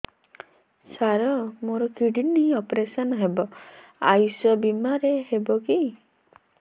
ସାର ମୋର kidney operation ହେବ ଆୟୁଷ ବିମାରେ ହେବ କି